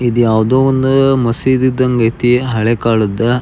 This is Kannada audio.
ಇದು ಯಾವುದೊ ಒಂದು ಮಸೀದಿ ಇದಾಗ್ಗೆ ಅಯ್ತಿ ಹಳೆ ಕಾಳದ.